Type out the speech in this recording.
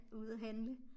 Ude handle